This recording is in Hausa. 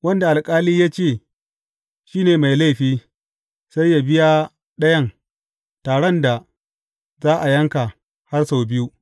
Wanda alƙali ya ce shi ne mai laifi, sai yă biya ɗayan taran da za a yanka, har sau biyu.